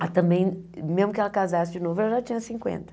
Ah também, mesmo que ela casasse de novo, ela já tinha cinquenta.